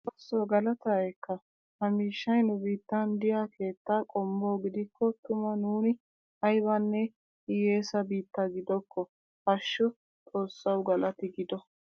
Xoossoo galataa ekka! ha miishshay nu biittan diya keetta qommo gidikko tuma nuuni aybanne hiyeessa biitta giddokkoo!! Hashshu xoossawu galatti giddo.